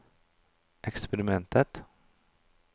eksperiment